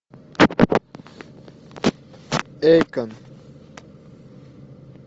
эйкон